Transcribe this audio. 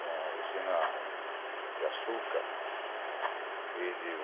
uma usina de açúcar.